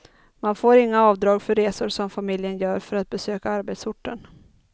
Man får inga avdrag för resor som familjen gör för att besöka arbetsorten.